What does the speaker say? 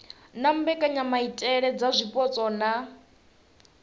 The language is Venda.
na mbekanyamaitele dza zwipotso na